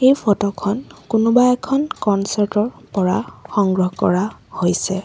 এই ফটো খন কোনোবা এখন কনচাৰ্ট ৰ পৰা সংগ্ৰহ কৰা হৈছে।